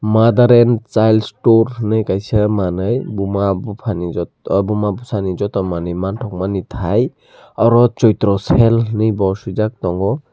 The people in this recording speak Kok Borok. mother and child store henui kaisa manui buma bufa ni jotto buma bwsa ni jotto manui mantogo boni thai oro choitro cycle henui bo swijak tongo.